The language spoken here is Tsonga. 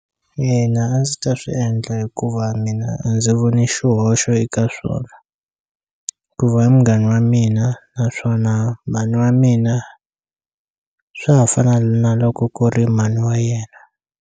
Ina a ndzi ta swi endla hikuva mina a ndzi voni xihoxo eka swona hikuva i munghana wa mina naswona mhani wa mina swa ha fana na loko ku ri mhani wa yena.